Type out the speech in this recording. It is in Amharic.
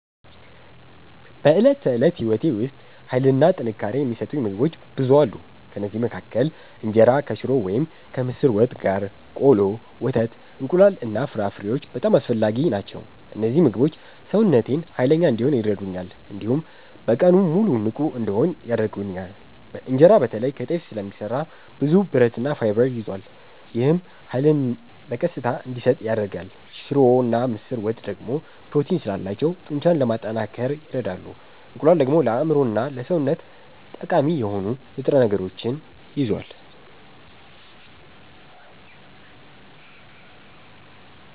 በዕለት ተዕለት ሕይወቴ ውስጥ ኃይልና ጥንካሬ የሚሰጡኝ ምግቦች ብዙ አሉ። ከእነዚህ መካከል እንጀራ ከሽሮ ወይም ከምስር ወጥ ጋር፣ ቆሎ፣ ወተት፣ እንቁላል እና ፍራፍሬዎች በጣም አስፈላጊ ናቸው። እነዚህ ምግቦች ሰውነቴን ኃይለኛ እንዲሆን ይረዱኛል፣ እንዲሁም በቀኑ ሙሉ ንቁ እንድሆን ያደርጉኛል። እንጀራ በተለይ ከጤፍ ስለሚሰራ ብዙ ብረትና ፋይበር ይዟል። ይህም ኃይልን በቀስታ እንዲሰጥ ያደርጋል። ሽሮና ምስር ወጥ ደግሞ ፕሮቲን ስላላቸው ጡንቻን ለማጠናከር ይረዳሉ። እንቁላል ደግሞ ለአእምሮና ለሰውነት ጠቃሚ የሆኑ ንጥረ ነገሮችን ይዟል።